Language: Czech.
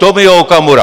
Tomio Okamura.